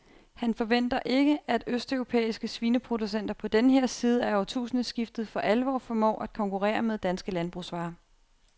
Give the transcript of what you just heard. Han forventer ikke, at østeuropæiske svineproducenter på denne her side af årtusindskiftet for alvor formår at konkurrere med danske landbrugsvarer.